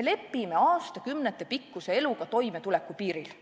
me lepime aastakümnetepikkuse eluga toimetulekupiiril.